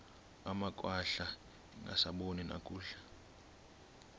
amakhwahla angasaboni nakakuhle